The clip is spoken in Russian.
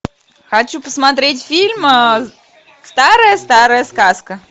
хочу посмотреть фильм старая старая сказка